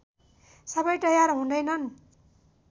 सबै तयार हुँदैनन्